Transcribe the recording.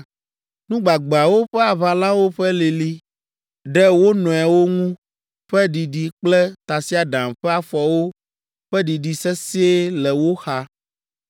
Nu gbagbeawo ƒe aʋalawo ƒe lili ɖe wo nɔewo ŋu ƒe ɖiɖi kple tasiaɖam ƒe afɔwo ƒe ɖiɖi sesĩe le wo xa.